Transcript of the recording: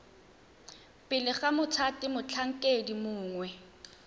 pele ga mothati motlhankedi mongwe